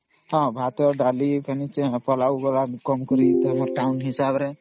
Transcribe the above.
ଭାତ ଡାଲି ପୁଲଉ ଏଗା ସବୁ ହବ